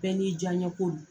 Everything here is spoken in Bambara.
Bɛɛ n'i diya ɲɛ ko do.